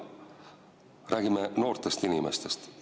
Me räägime noortest inimestest.